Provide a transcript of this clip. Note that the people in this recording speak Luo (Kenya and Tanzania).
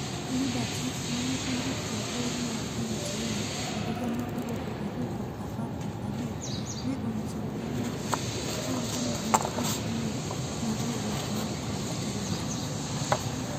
Liberty, mane owuok e bod mar MTM ehiga mar alufu ariyo kod apar kod abich ne onyiso Propublica kowacho ni en kod yie ni riwruok ne ni kod thuolo.